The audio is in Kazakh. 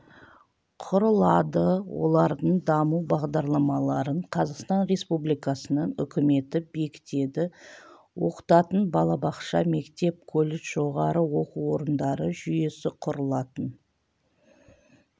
құрылады олардың даму бағдарламаларын қазақстан республикасының үкіметі бекітеді оқытатын балабақша мектеп колледж жоғары оқу орындары жүйесі құрылатын